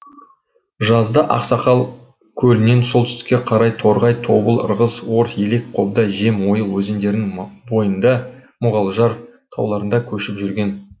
жазда ақсақал көлінен солтүстікке қарай торғай тобыл ырғыз ор елек қобда жем ойыл өзендерінің бойында мұғалжар тауларында көшіп жүрген